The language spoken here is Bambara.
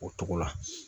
O togo la